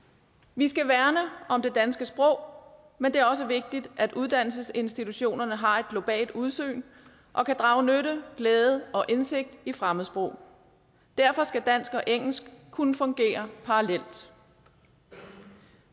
vi skal værne om det danske sprog men det er også vigtigt at uddannelsesinstitutionerne har et globalt udsyn og kan drage nytte glæde og indsigt i fremmedsprog derfor skal dansk og engelsk kunne fungere parallelt